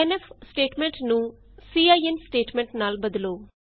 scanf statement ਨੂੰ cin statement ਨਾਲ ਬਦਲੋ